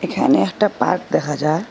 এখানে একটা পার্ক দেখা যার।